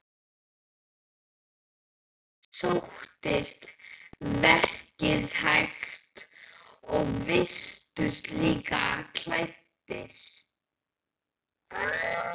Þeim sóttist verkið hægt og virtust illa klæddir.